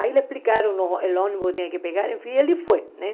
Aí lhe explicaram o o ônibus que tinha que pegar, enfim, ele foi, né?